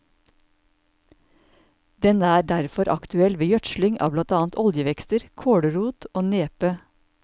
Den er derfor aktuell ved gjødsling av blant annet oljevekster, kålrot og nepe.